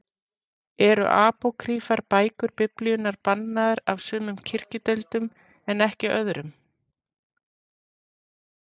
Eru apókrýfar bækur Biblíunnar bannaðar af sumum kirkjudeildum en ekki öðrum?